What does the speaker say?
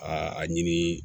Aa a ɲini